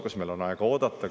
Kas meil on aega oodata?